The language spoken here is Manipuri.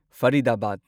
ꯐꯔꯤꯗꯕꯥꯗ